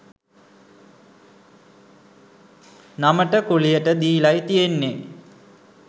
නමට කුලියට දීලයි තියෙන්නේ.